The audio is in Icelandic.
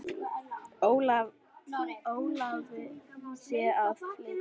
Óþarfi sé að flýta sér.